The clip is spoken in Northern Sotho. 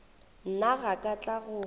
nna ga ka tla go